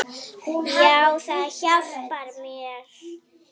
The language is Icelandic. Já, það hjálpar mér.